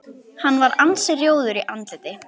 Hann var ansi rjóður í andliti.